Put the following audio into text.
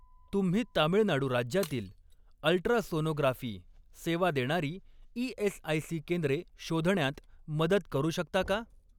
तुम्ही तामिळनाडू राज्यातील अल्ट्रासोनोग्राफी सेवा देणारी ई.एस.आय.सी. केंद्रे शोधण्यात मदत करू शकता का?